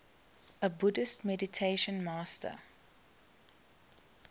buddhist meditation master